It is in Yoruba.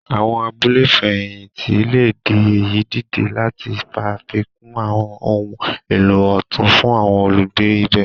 Àwọn abúlé ìfẹ̀hìntì le di èyí dìde lati ṣafikun àwọn ohun èlò otun fún àwọn olugbe ibè.